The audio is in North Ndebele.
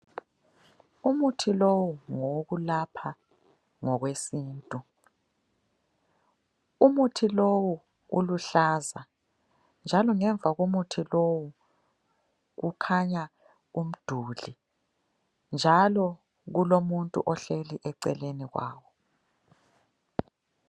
Umuthi lowu ngowokulapha ngokwesintu. Umuthi lowu uluhlaza njalo ngemva komuthi lowu kukhanya umduli njalo kulomuntu ohleli eceleni kwawo.